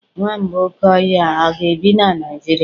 Nwamba oke ohia a ga-ebi na Nigeria?